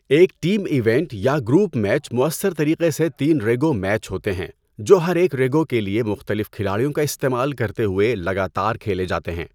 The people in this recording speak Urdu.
ایک ٹیم ایونٹ یا گروپ میچ مؤثر طریقے سے تین ریگو میچ ہوتے ہیں جو ہر ایک ریگو کے لیے مختلف کھلاڑیوں کا استعمال کرتے ہوئے لگاتار کھیلے جاتے ہیں۔